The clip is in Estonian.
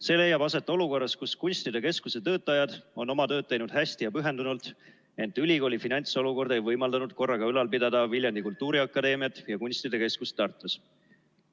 See leiab aset olukorras, kus kunstide keskuse töötajad on oma tööd teinud hästi ja pühendunult, ent ülikooli finantsolukord ei ole võimaldanud korraga ülal pidada Viljandi Kultuuriakadeemiat ja kunstide keskust Tartus.